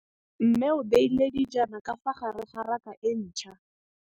Mmê o beile dijana ka fa gare ga raka e ntšha.